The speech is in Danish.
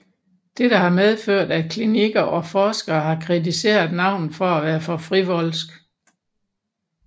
Dette har medført at klinikker og forskere har kritiseret navnet for at være for frivolsk